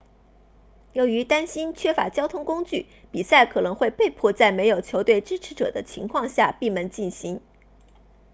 由于担心缺乏交通工具比赛可能会被迫在没有球队支持者的情况下闭门进行